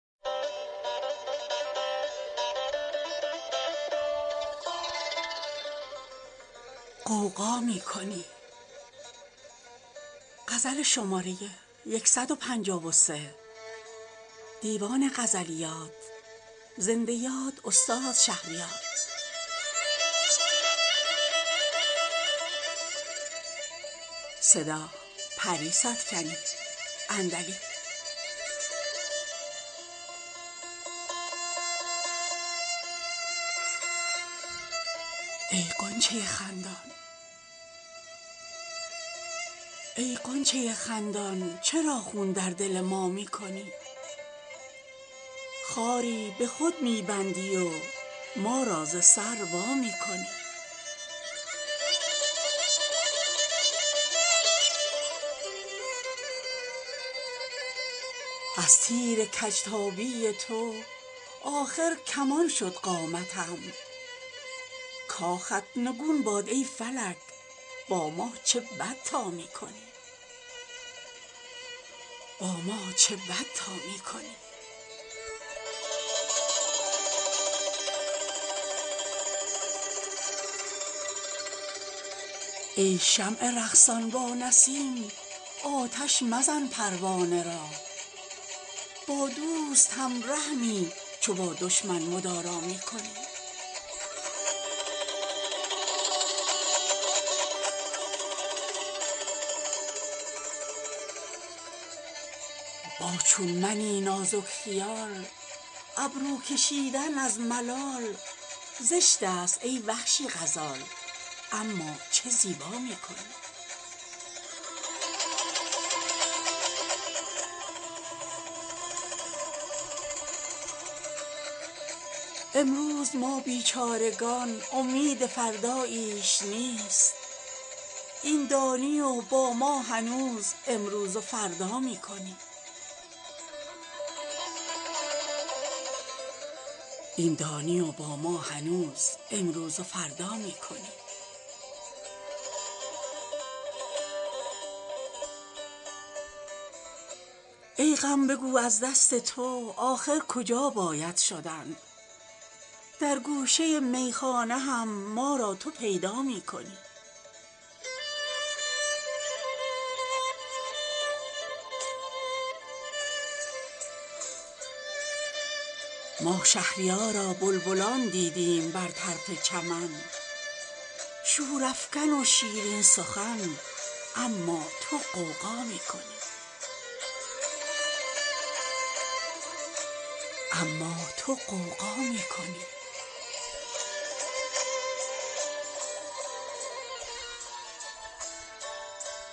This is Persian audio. ای غنچه خندان چرا خون در دل ما می کنی خاری به خود می بندی و ما را ز سر وا می کنی از تیر کج تابی تو آخر کمان شد قامتم کاخت نگون باد ای فلک با ما چه بد تا می کنی ای شمع رقصان با نسیم آتش مزن پروانه را با دوست هم رحمی چو با دشمن مدارا می کنی آتش پرید از تیشه ات امشب مگر ای کوهکن از دست شیرین درددل با سنگ خارا می کنی با چون منی نازک خیال ابرو کشیدن از ملال زشت است ای وحشی غزال اما چه زیبا می کنی امروز ما بیچارگان امید فرداییش نیست این دانی و با ما هنوز امروز و فردا می کنی دیدم به آتش بازی ات شوق تماشایی به سر آتش زدم در خود بیا گر خود تماشا می کنی آه سحرگاه ترا ای شمع مشتاقم به جان باری بیا گر آه خود با ناله سودا می کنی ای غم بگو از دست تو آخر کجا باید شدن در گوشه میخانه هم ما را تو پیدا می کنی ما شهریارا بلبلان دیدیم بر طرف چمن شورافکن و شیرین سخن اما تو غوغا می کنی